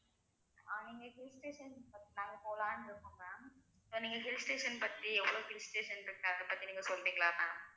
ஆஹ் நீங்க hill station பத்~ நாங்க போலாம்னு இருக்கோம் ma'am நீங்க hill station பத்தி எவ்வளவு hill station இருக்கு அத பத்தி நீங்க சொல்றீங்களா ma'am